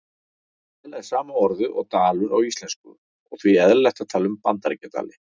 Tal er sama orðið og dalur á íslensku og því eðlilegt að tala um Bandaríkjadali.